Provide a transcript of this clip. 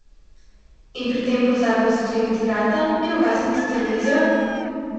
In pri tem pozabil zakleniti vrata in ugasniti televizijo?